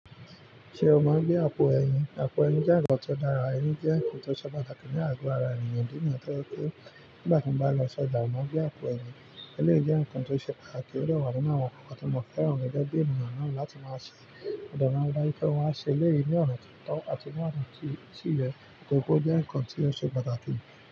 Ṣé o máa gbé àpò ẹyin? Àpò ẹyin jẹ́ ǹkan tí ó dára, ẹyin jẹ́ ǹkan tó ṣe pàtàkì ní àgo ara ènìyàn. Ìfí nìyẹn tó jẹ́ wípé nígbà tí n bá lọ ṣọ́jà, mo màá n gbé àpò ẹyin. Eléyìí jẹ́ nǹkan tó ṣe pàtàkì, ó dẹ̀ wà nínú àwọn nǹkan tí mo fẹ́ràn. Gẹ́gẹ́ bí ẹnìyàn ná láti máa ṣe mọ̀nde máa ń rí dájú pé mo ṣe ẹléyìí ní ọ̀nà tó tọ́ àti ní ọ̀nà tí sìyẹ́, torí pé ó jẹ́ ǹkan tí ó ṣe pàtàkì.